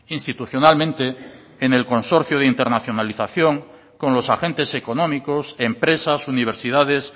institucionalmente en el consorcio de internacionalización con los agentes económicos empresas universidades